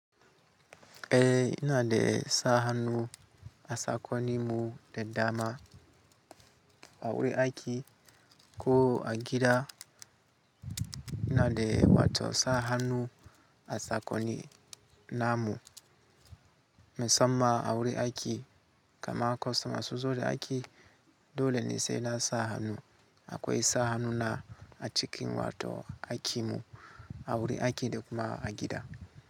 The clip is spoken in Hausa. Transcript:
Eh ina de sahanu a sakoni mu de dama awuri aki ko a gida ina de wato sahanu a sakoni namu. Me samma awuri aiki kama kostama suzo da aiki dole ne se na sa hannu akwe sahanu na a cikin wato aki mu aure ake da kuma a gida.